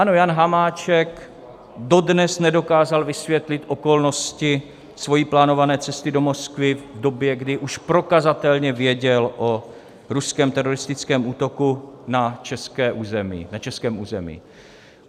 Ano, Jan Hamáček dodnes nedokázal vysvětlit okolnosti své plánované cesty do Moskvy v době, když už prokazatelně věděl o ruském teroristickém útoku na českém území.